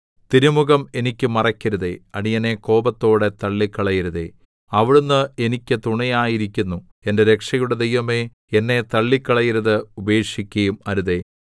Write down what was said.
തിരുമുഖം എനിക്ക് മറയ്ക്കരുതേ അടിയനെ കോപത്തോടെ തള്ളിക്കളയരുതേ അവിടുന്ന് എനിക്ക് തുണയായിരിക്കുന്നു എന്റെ രക്ഷയുടെ ദൈവമേ എന്നെ തള്ളിക്കളയരുതേ ഉപേക്ഷിക്കുകയും അരുതേ